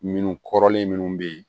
Minnu kɔrɔlen minnu bɛ yen